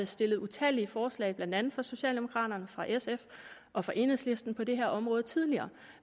stillet utallige forslag blandt andet fra socialdemokraterne fra sf og fra enhedslisten på det her område tidligere